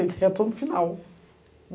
Eu estou no final.